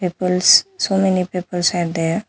Peoples some many peoples are there.